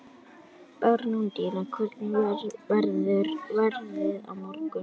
Bernódía, hvernig verður veðrið á morgun?